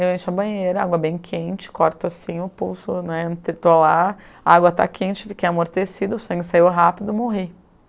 Eu encho a banheira, água bem quente, corto assim o pulso né, estou lá, a água está quente, fiquei amortecida, o sangue saiu rápido, morri.